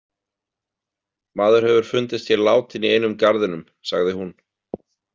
Maður hefur fundist hér látinn í einum garðinum, sagði hún.